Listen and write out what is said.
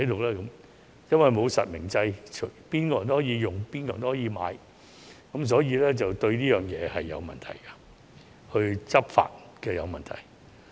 由於沒有實名制，任何人都可以使用和購買八達通，這是有問題的，對執法亦構成問題。